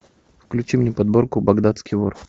включи мне подборку багдадский вор